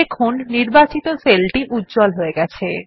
দেখুন নির্বাচিত সেল টি উজ্জ্বল হয়ে গেছে